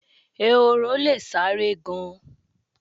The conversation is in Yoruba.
Ehoro le sáré gan-an.